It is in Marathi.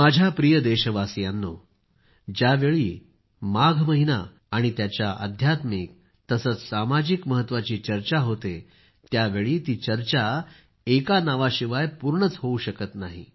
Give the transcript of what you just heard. माझ्या प्रिय देशवासियांनो ज्यावेळी माघ महिना आणि त्याच्या आध्यात्मिक सामाजिक महत्वाची चर्चा होते त्यावेळी ती चर्चा एक नावाशिवाय पूर्णच होत नाही